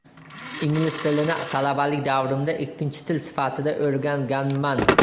Ingliz tilini talabalik davrimda ikkinchi til sifatida o‘rganganman.